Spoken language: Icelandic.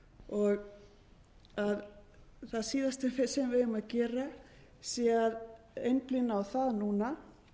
og það síðasta sem við eigum að gera sé að einblína á það núna